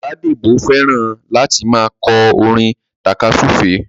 Bọ̀dá Débọ̀ fẹ́ràn láti máa kọ́ orin tàka súfèé